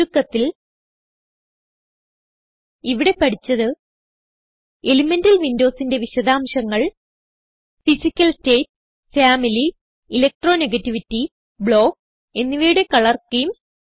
ചുരുക്കത്തിൽ ഇവിടെ പഠിച്ചത് എലിമെന്റൽ windowsന്റെ വിശദാംശങ്ങൾ physical state family electronegativity block എന്നിവയുടെ കളർ സ്കീംസ്